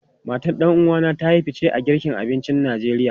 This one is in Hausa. Matan ɗan uwa na ta yi fice a girka abincin Najeriya.